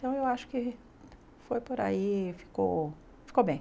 Então, eu acho que foi por aí, ficou ficou bem.